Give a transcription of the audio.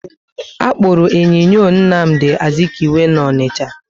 Akpuru enyinyo Nnamdi Azikiwe na Onicha